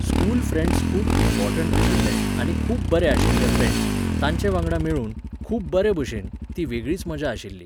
School friends खूब important आशिल्ले आनी खूब बरे आशिल्ले फ्रँड्स, तांचेवांगडा मेळून, खूब बरेभशेन, ती वेगळीच मजा आशिल्ली.